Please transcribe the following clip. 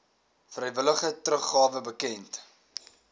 vrywillige teruggawe bekend